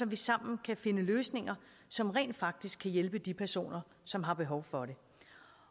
vi sammen kan finde løsninger som rent faktisk kan hjælpe de personer som har behov for det